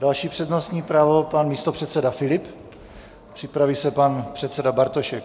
Další přednostní právo - pan místopředseda Filip, připraví se pan předseda Bartošek.